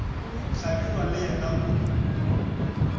hlabirwa le yena o be